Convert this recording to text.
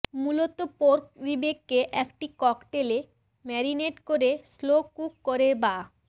মূলত পোর্ক রিবকে একটি ককটেলে ম্যারিনেট করে স্লো কুক করে বা